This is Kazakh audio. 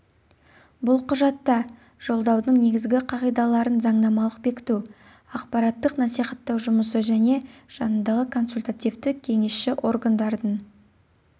бұл құжатта жолдаудың негізгі қағидаларын заңнамалық бекіту ақпараттық-насихаттау жұмысы және жанындағы консультативтік-кеңісші органдардың